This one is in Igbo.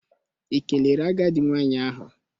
Ị kelere agadi nwanyị ahụ?